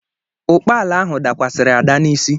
Ụkpala ahụ dakwasịrị Ada n’isi.